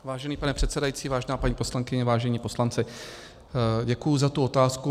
Vážený pane předsedající, vážená paní poslankyně, vážení poslanci, děkuji za tu otázku.